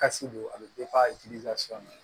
Kasi don a bɛ